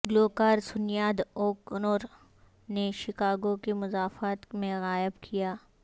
گلوکار سنیاد او کنور نے شکاگو کے مضافات میں غائب کیا